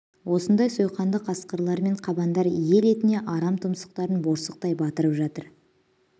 осындай сойқанды қасқырлар мен қабандар ел етіне арам тұмсықтарын борсықтай батырып жатыр